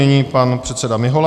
Nyní pan předseda Mihola.